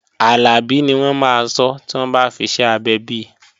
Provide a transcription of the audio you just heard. Àlàbí ni wọ́n máa sọ́ tí wọ́n bá fiṣẹ́ abẹ bi